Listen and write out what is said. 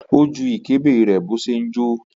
Ó ju ìkébè rẹ̀ bó ṣe ń jó.